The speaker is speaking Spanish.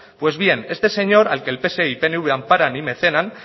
pues bien este señor al que el pse y pnv amparan y mecenan